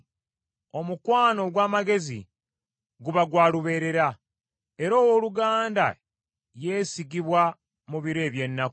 Omukwano ogw’amagezi guba gwa lubeerera, era owooluganda yeesigibwa mu biro eby’ennaku.